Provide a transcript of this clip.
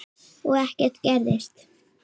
Og ekkert gerist.